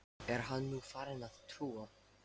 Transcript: Er hann nú farinn að trúa?